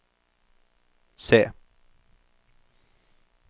se